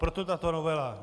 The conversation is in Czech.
Proto tato novela.